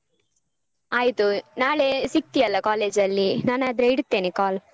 ಆಯ್ತು ನಾಳೆ ಸಿಕ್ತಿಯಲ್ಲ college ಅಲ್ಲಿ ನಾನಾದ್ರೆ ಇಡ್ತೇನೆ call.